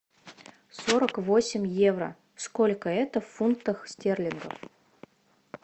сорок восемь евро сколько это в фунтах стерлингов